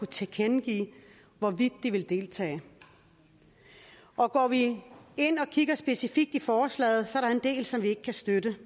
tilkendegive hvorvidt de vil deltage og går vi ind og kigger specifikt i forslaget er der en del som vi ikke kan støtte